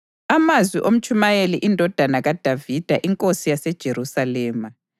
Amazwi oMtshumayeli, indodana kaDavida inkosi yaseJerusalema: